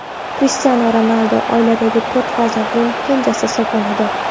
Krishtianu Ronaldu oiladagi to‘rt farzandning kenjasi hisoblanadi.